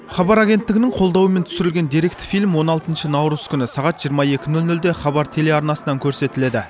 хабар агенттігінің қолдауымен түсірілген деректі фильм он алтыншы наурыз күні сағат жиырма екі нөл нөлде хабар телеарнасынан көрсетіледі